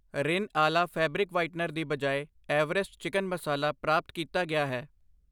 ਰਿਨ ਅਲਾ fabric whitener ਦੀ ਬਜਾਏ ਐਵਰੈਸਟ ਚਿਕਨ ਮਸਾਲਾ ਪ੍ਰਾਪਤ ਕੀਤਾ ਗਿਆ ਹੈ I